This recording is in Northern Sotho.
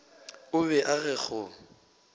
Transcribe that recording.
o be a re go